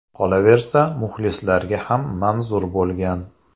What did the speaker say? Qolaversa, muxlislarga ham manzur bo‘lgan.